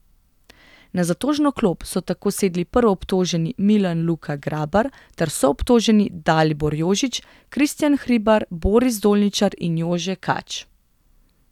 Na zatožno klop so tako sedli prvoobtoženi Milan Luka Grabar ter soobtoženi Dalibor Jožić, Kristjan Hribar, Boris Dolničar in Jože Kač.